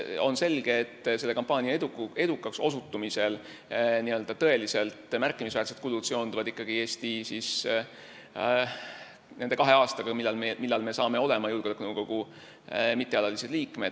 On selge, et selle kampaania edukaks osutumisel seonduvad tõeliselt märkimisväärsed kulud ikkagi nende kahe aastaga, kui me oleme julgeolekunõukogu mittealaliseks liikmeks.